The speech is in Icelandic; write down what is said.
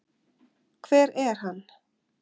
Hver er hann?